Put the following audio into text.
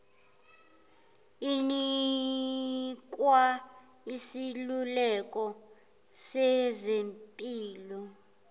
inikwa iseluleko sezempilo